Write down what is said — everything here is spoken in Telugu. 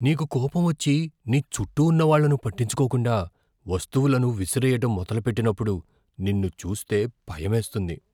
నీకు కోపం వచ్చి, నీ చుట్టూ ఉన్న వాళ్ళను పట్టించుకోకుండా వస్తువులను విసిరేయడం మొదలుపెట్టినప్పుడు నిన్ను చూస్తే భయమేస్తుంది.